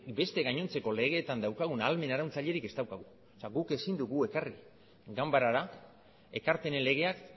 beste gainontzeko legeetan daukagun ahalmen arautzailerik ez daukagu guk ezin dugu ekarri ganbarara ekarpenen legeak